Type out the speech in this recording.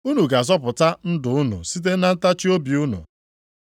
Unu ga-azọpụta ndụ unu site na ntachiobi unu.